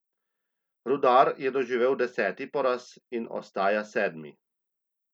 Rudar je doživel deseti poraz in ostaja sedmi.